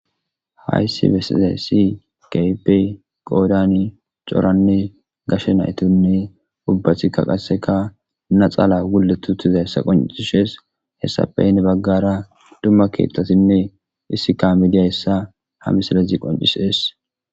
hayssi besizay si kaype qoodani coranne gashe naytonne ubbathikka qasseka na xaala wule tutiza hessa qoncishees hessapeyne baggara dumma keettatinne issika midiya hessa ha misalazi qoncisees